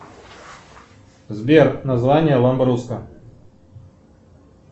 сбер название ламберруска